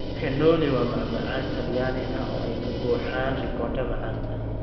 Cannoli waa macmacaan Talyaani ah oo ay ka buuxaan ricotta macaan.